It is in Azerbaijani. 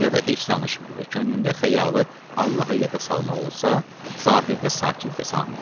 ya da heç danışmır və könlündə xəyalı Allahı yada salmaq olsa, zahirdə sakit və samit.